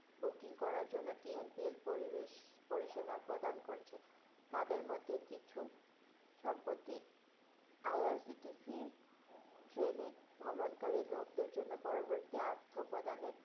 booking করার জন্য TNPA পরিবেশ পরিসেবা প্রদান করছে। তাদের মধ্যে কিছু সম্প্রতি IRCTC train এ ভ্রমণকারী লোকদের জন্য পরবর্তী আর্থ প্রদানের